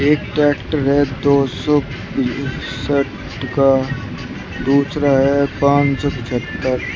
एक ट्रैक्टर है दो सौ इकसठ का दूसरा है पांच सौ पचहत्तर --